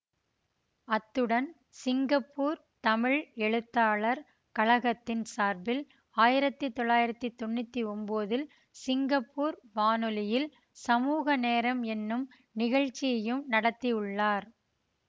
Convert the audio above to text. அத்துடன் சிங்கப்பூர் தமிழ் எழுத்தாளர் கழகத்தின் சார்பில் ஆயிரத்தி தொள்ளாயிரத்தி தொன்னூத்தி ஒன்போதில் சிங்கப்பூர் வானொலியில் சமூக நேரம் எனும் நிகழ்ச்சியையும் நடத்தியுள்ளார்